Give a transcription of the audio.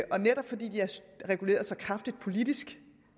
og netop fordi de er reguleret så kraftigt politisk